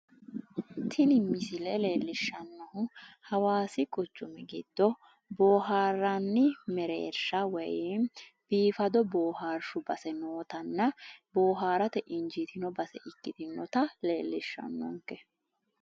Tini misile leellishshannohu hawaasi quchumi giddo boohaarranni mereersha woyimi biifado boohaarshu base nootanna boohaarate injiitinoto base ikkitinota leellishshannonke.